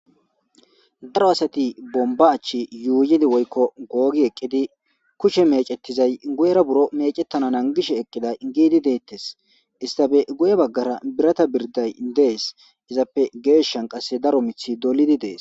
Daro asati bomba achi yuuyidi woykko googi eqqidi kushe mecettizay guyera buro mecettana angishe eqqida giidi deettes istafe guye baggara birata birday dees izappe geeshan qasse daro mithi dolidi dees